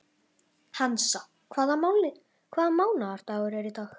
Hansa, hvaða mánaðardagur er í dag?